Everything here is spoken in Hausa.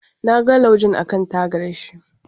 Na ga laujen akan tagar shi.